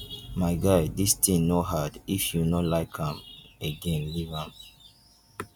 my guy dis thing no hard if you no like am again leave am.